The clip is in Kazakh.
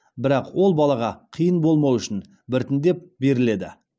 бірақ ол балаға қиын болмауы үшін біртіндеп беріледі